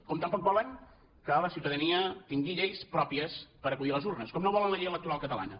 com tampoc volen que la ciutadania tingui lleis pròpies per acudir a les urnes com no volen la llei electoral catalana